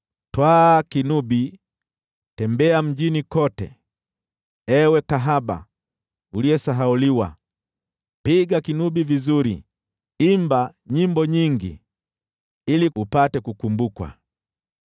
“Twaa kinubi, tembea mjini kote, ewe kahaba uliyesahauliwa; piga kinubi vizuri, imba nyimbo nyingi, ili upate kukumbukwa.”